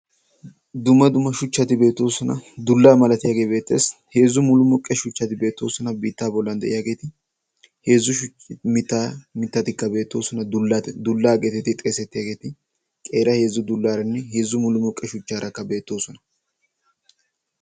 duma duma shuchchati beetoosona. dullaa malatiyaagee beetteessi heezzu mulumuqqe shuchchati beetoosona. biittaa bollan de7iyaageeti heezzu shmita mitatikka beettoosona .dullaa geetiti xeesettiyaageeti qeera heezzu dullaaranne heezzu mulamoqqe shuchchaarakka beettoosona.